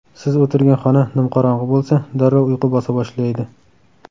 Siz o‘tirgan xona nimqorong‘i bo‘lsa, darrov uyqu bosa boshlaydi.